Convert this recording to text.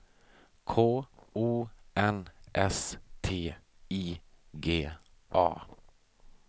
K O N S T I G A